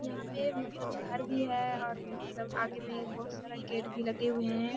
यहाँ पे मतलब घर भी है और मतलब आगे में बहुत सारा गेट भी लगे हुए हैं।